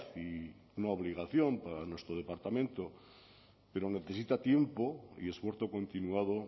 y una obligación para nuestro departamento pero necesita tiempo y esfuerzo continuado